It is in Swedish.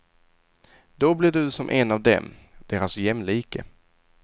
Då blir du som en av dem, deras jämlike.